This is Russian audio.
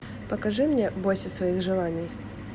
покажи мне бойся своих желаний